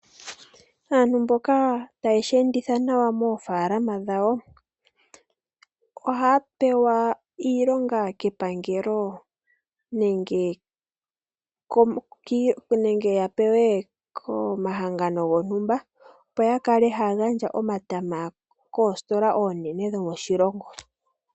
Aantu mboka taye shi enditha nawa moofaalama dhawo, ohaya pewa iilonga kepangelo nenge komahangano gontumba opo yakale haya gandja omatama koositola oonene dhomoshilongo.